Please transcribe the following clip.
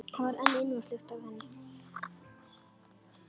Það var enn ilmvatnslykt af henni.